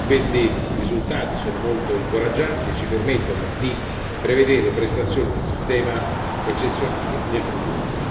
Questi risultati sono molto incoraggianti e ci permettono di prevedere prestazioni del sistema eccezionali nel futuro.